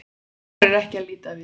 Hún þorir ekki að líta við.